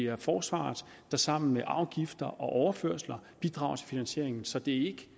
og forsvaret der sammen med afgifter og overførsler bidrager til finansieringen så det